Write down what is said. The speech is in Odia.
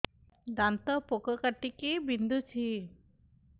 ଦାନ୍ତ ପୋକ କାଟିକି ବିନ୍ଧୁଛି